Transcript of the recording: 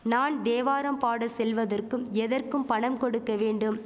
நான் தேவராம் பாட செல்வதற்கும் எதற்கும் பணம் கொடுக்க வேண்டும்